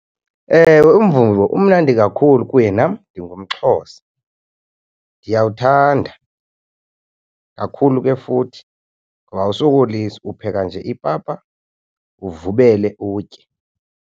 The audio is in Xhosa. Ewe, umvubo umnandi kakhulu kuye nam ndingumXhosa. Ndiyawuthanda kakhulu ke futhi ngoba awusokolisi, upheka nje ipapa uvubele utye.